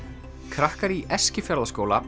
krakkar í Eskifjarðarskóla